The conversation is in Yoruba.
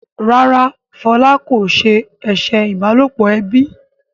ràrá Fola kò se eṣe ìbálòpọ̀ ẹbí.